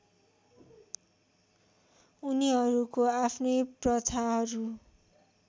उनीहरूको आफ्नै प्रथाहरू